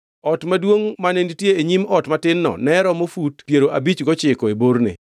Ot maduongʼ mane nitie e nyim ot matin-no ne romo fut piero abich gochiko e borne.